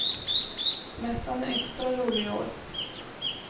Mässan är extra rolig i år.